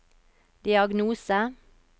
diagnose